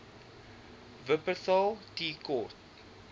wupperthal tea court